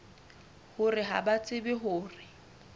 hore ha ba tsebe hore